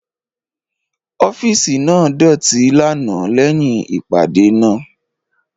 Ọfiisi naa doti lana lẹhin ipade naa